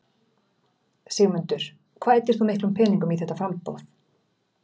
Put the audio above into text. Sigmundur: Hvað eyddir þú miklum peningum í þetta framboð?